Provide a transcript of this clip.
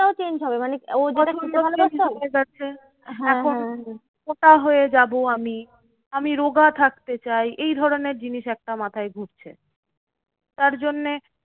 এখন মোটা হয়ে যাবো আমি। আমি রোগা থাকতে চাই। এই ধরণের জিনিস একটা মাথায় ঢুকছে। তার জন্যে